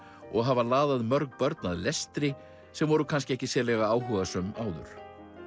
og hafa laðað mörg börn að lestri sem voru kannski ekki sérlega áhugasöm áður